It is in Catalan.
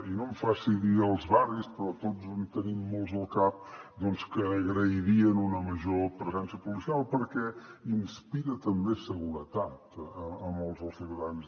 i no em faci dir els barris però tots en tenim molts al cap doncs que agrairien una major presència policial perquè inspira també seguretat a molts dels ciutadans